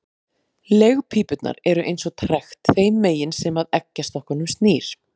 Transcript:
Legpípurnar eru eins og trekt þeim megin sem að eggjastokkunum snýr.